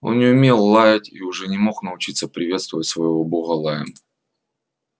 он не умел лаять и уже не мог научиться приветствовать своего бога лаем